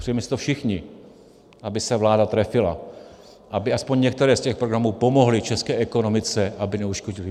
Přejeme si to všichni, aby se vláda trefila, aby alespoň některé z těch programů pomohly české ekonomice, aby neuškodily.